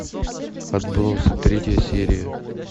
отбросы третья серия